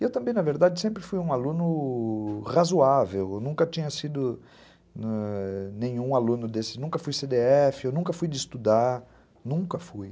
E eu também, na verdade, sempre fui um aluno razoável, eu nunca tinha sido nenhum aluno desse, nunca fui cê dê efe, eu nunca fui de estudar, nunca fui.